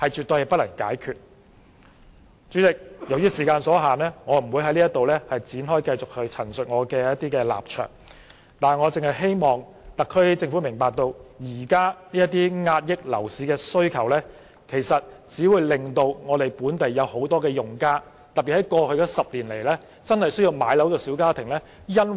代理主席，由於時間所限，我不會繼續闡述我的立埸，但我希望特區政府明白，現時遏抑樓市需求的措施，其實只會令本地很多用家，特別在過去的10年裏真正需要置業的小家庭無法置業。